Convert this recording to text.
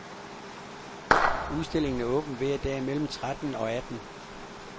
Udstillingen er åben hver dag mellem tretten og atten.